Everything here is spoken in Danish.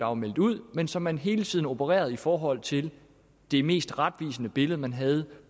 var meldt ud men så man hele tiden opererede i forhold til det mest retvisende billede man havde